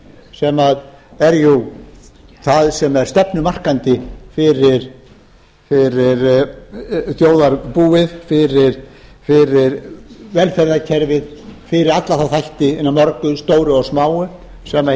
sem er það sem er stefnumarkandi fyrir þjóðarbúið fyrir velferðarkerfið fyrir alla þá þætti eina mörgu stóru og smáu sem hið